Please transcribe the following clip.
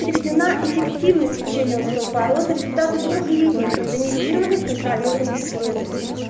приведена эффективность лечения остеопороза результаты трёхлетних рандомизированных контролируемых исследований